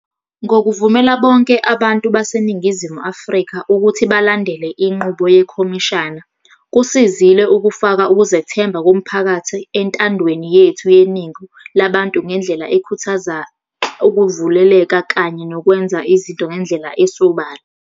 Ngokuvumela bonke abantu baseNingizimu Afrika ukuthi balandele inqubo yekhomishana, kusizile ukufaka ukuzethemba komphakathi entandweni yethu yeningi labantu ngendlela ekhuthaza ukuvuleleka kanye nokwenza izinto ngendlela esobala.